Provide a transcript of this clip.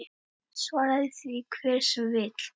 Svari því hver sem vill.